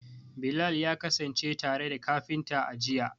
Bilal ya kasance tare da kafintan, a jiya.